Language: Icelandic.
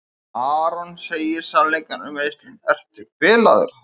Aron segir sannleikann um meiðslin: Ertu bilaður?